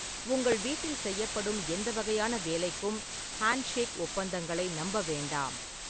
உங்கள் வீட்டில் செய்யப்படும் எந்த வகையான வேலைக்கும் "ஹேண்ட்ஷேக் ஒப்பந்தங்களை" நம்ப வேண்டாம்.